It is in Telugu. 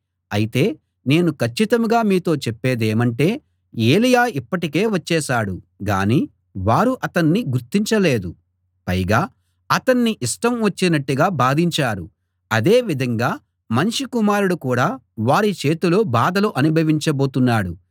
అయితే నేను కచ్చితంగా మీతో చెప్పేదేమంటే ఏలీయా ఇప్పటికే వచ్చేశాడు గానీ వారు అతణ్ణి గుర్తించలేదు పైగా అతణ్ణి ఇష్టం వచ్చినట్టుగా బాధించారు అదే విధంగా మనుష్య కుమారుడు కూడా వారి చేతిలో బాధలు అనుభవించబోతున్నాడు